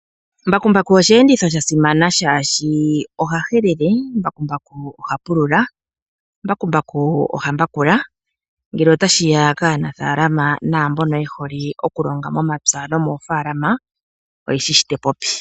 Mbakumbaku osheenditho sha simana shaashi oha helele, mbakumbaku oha pulula, mbakumbaku oha mbakula ngele ota shiya kaanafaalama naamboka yehole okulonga momapya.